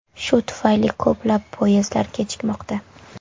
Shu tufayli ko‘plab poyezdlar kechikmoqda.